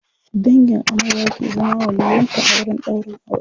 dangin amarya ke zama waliyyin ta a wurin ɗaurin aure